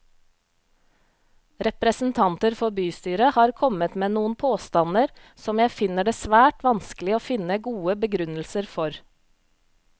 Representanter for bystyret har kommet med noen påstander som jeg finner det svært vanskelig å finne gode begrunnelser for.